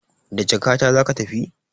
Da jakata zaki tafi?